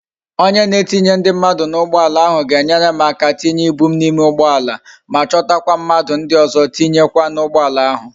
Onye na etinye ndi mmadu na ugboala ahu ga enwere m aka tinye ibu m na ime ugboala ma chota kwa mmadu ndi ozo tinye kwa na ugboala ahu